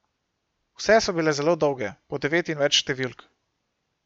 Vse so bile zelo dolge, po devet in več številk.